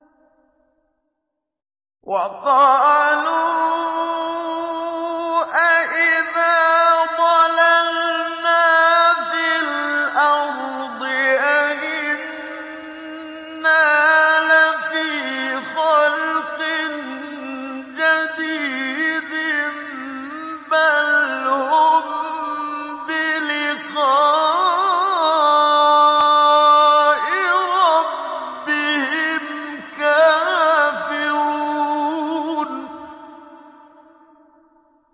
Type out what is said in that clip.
وَقَالُوا أَإِذَا ضَلَلْنَا فِي الْأَرْضِ أَإِنَّا لَفِي خَلْقٍ جَدِيدٍ ۚ بَلْ هُم بِلِقَاءِ رَبِّهِمْ كَافِرُونَ